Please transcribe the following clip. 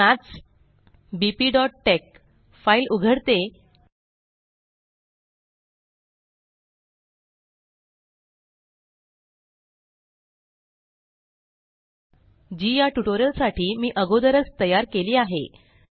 आता मी maths bptexफाइल उघडते जी या ट्यूटोरियल साठी मी अगोदरच तयार केली आहे